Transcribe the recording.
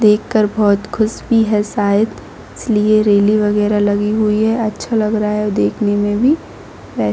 देखकर बहुत खुश भी है शायद !इसलिए रेली वगैरा लगी हुई है अच्छा लग रहा है देखने में भी आ--